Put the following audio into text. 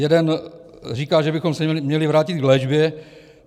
Jeden říká, že bychom se měli vrátit k léčbě.